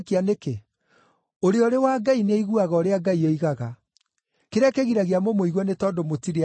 Ũrĩa ũrĩ wa Ngai nĩaiguaga ũrĩa Ngai oigaga. Kĩrĩa kĩgiragia mũmũigue nĩ tondũ mũtirĩ a Ngai.”